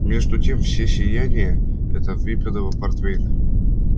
между тем всё сияние это выпитого портвейна